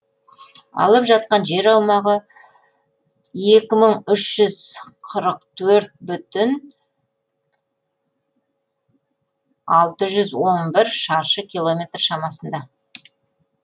алып жатқан жер аумағы екі мың үш жүз қырық төрт бүтін алты жүз он бір шаршы километр шамасында